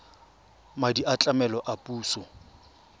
madi a tlamelo a puso